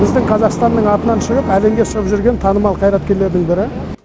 біздің қазақстанның атынан шығып әлемге шығып жүрген танымал қайраткерлердің бірі